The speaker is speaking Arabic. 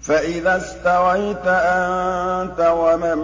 فَإِذَا اسْتَوَيْتَ أَنتَ وَمَن